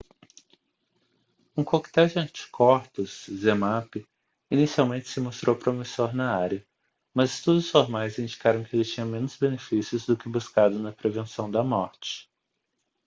um coquetel de anticorpos zmapp inicialmente se mostrou promissor na área mas estudos formais indicaram que ele tinha menos benefícios do que buscado na prevenção da morte